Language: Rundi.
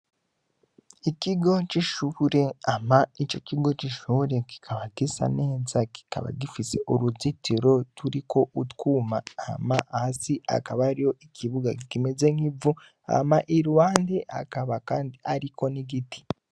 Ikigo c'ishure, hama ico kigo c'ishure kikaba gisa neza kikaba gifise uruzitiro turiko utwuma, hama, hasi hakaba hariho ikibuga kimeze nk'ivu, hama iruhande hakaba kandi hariko n'igiti.